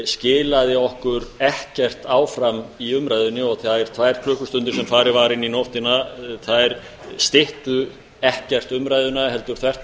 skilaði okkur ekkert áfram í umræðunni og þær tvær klukkustundir sem farið var inn í nóttina þær styttu ekkert umræðuna heldur þvert á